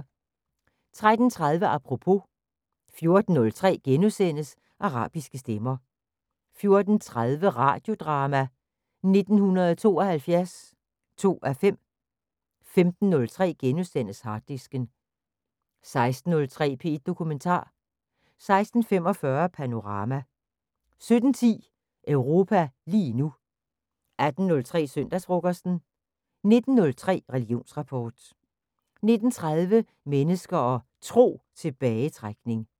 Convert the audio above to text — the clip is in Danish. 13:30: Apropos 14:03: Arabiske stemmer * 14:30: Radiodrama: 1972 2:5 15:03: Harddisken * 16:03: P1 Dokumentar 16:45: Panorama 17:10: Europa lige nu 18:03: Søndagsfrokosten 19:03: Religionsrapport 19:30: Mennesker og Tro: Tilbagetrækning